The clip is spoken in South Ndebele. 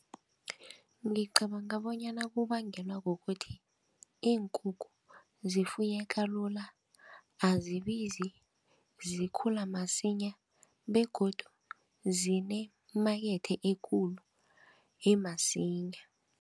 Ngicabanga bonyana kubangelwa kukuthi, iinkukhu zifuyeka lula, azibizi, zikhula masinya begodu zinemakethe ekulu emasinya.